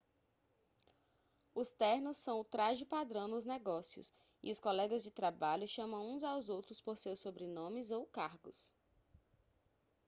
os ternos são o traje-padrão nos negócios e os colegas de trabalho chamam uns aos outros por seus sobrenomes ou cargos